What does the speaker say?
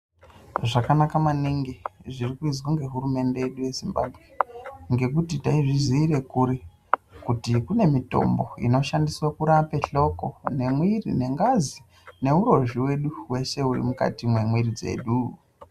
Zvakanaka maningi zviri kuizwa nge hurumende yedu ye Zimbabwe ngekuti taizvi ziire kuri kuti kune mitombo inoshandiswe kurape hloko ne mwiri ne ngazi neurozvi wedu weshe uri mukati me mwiri dzedu.